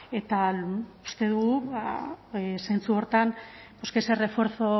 eta uste dugu zentzu horretan pues que ese refuerzo